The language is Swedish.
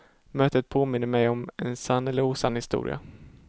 Mötet påminner mig om en sann eller osann historia.